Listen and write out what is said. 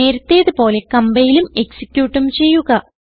നേരത്തേത് പോലെ കംപൈലും എക്സിക്യൂട്ടും ചെയ്യുക